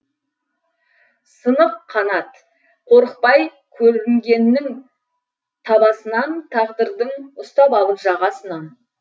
сынық қанат қорықпай көрінгеннің табасынан тағдырдың ұстап алып жағасынан